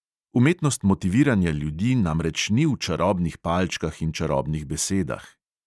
Umetnost motiviranja ljudi namreč ni v čarobnih palčkah in čarobnih besedah.